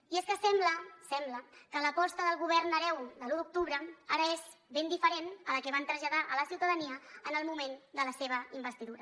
i és que sembla sembla que l’aposta del govern hereu de l’u d’octubre ara és ben diferent de la que van traslladar a la ciutadania en el moment de la seva investidura